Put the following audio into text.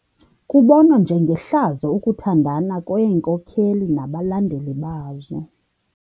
Kubonwa njengehlazo ukuthandana kweenkokeli nabalandeli bazo.